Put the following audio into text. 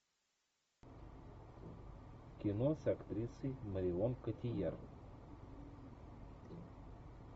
кино с актрисой марион котийяр